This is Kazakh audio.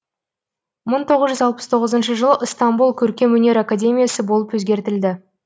мың тоғыз жүз алпыс тоғызыншы жылы ыстамбұл көркемөнер академиясы болып өзгертілді